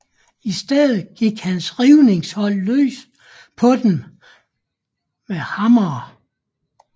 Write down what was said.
I stedet gik hans rivningshold løs på dem med hammere